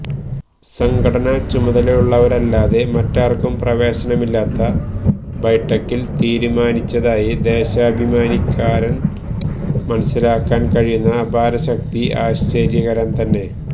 സംഘടനാ ചുമതലയുള്ളവരെയല്ലാതെ മറ്റാര്ക്കും പ്രവേശനമില്ലാത്ത ബൈഠക്കില് തീരുമാനിച്ചതായി ദേശാഭിമാനിക്കാരന് മനസ്സിലാക്കാന് കഴിയുന്ന അപാരശക്തി ആശ്ചര്യകരം തന്നെ